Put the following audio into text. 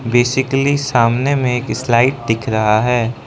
Basically सामने में एक स्लाइड दिख रहा है।